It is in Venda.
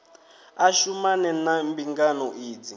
a shumane na mbingano idzi